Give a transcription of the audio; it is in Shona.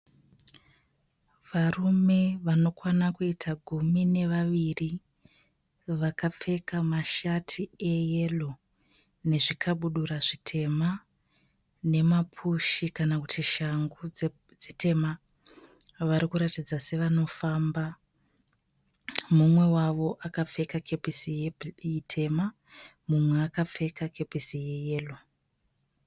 Varume vanokwana kuita gumi nevaviri, vakapfeka mashati eyero nezvikabudura zvitema nemapushi kana kuti shangu dzitema. Vari kuratidza sevanofamba. Mumwe wavo akapfeka kepesi itema, mumwe akapfeka kepesi yeyero.